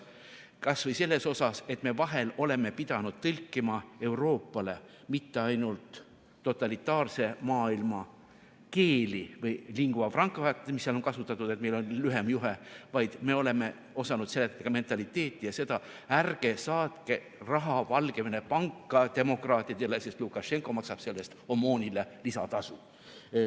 Kas või selles mõttes, et me vahel oleme pidanud tõlkima Euroopale mitte ainult totalitaarse maailma keeli või lingua franca't, mis seal on kasutatud, sest meil on lühem juhe, vaid me oleme osanud seletada mentaliteeti ja seda: ärge saatke raha Valgevene panka demokraatidele, sest Lukašenka maksab sellest OMON-ile lisatasu.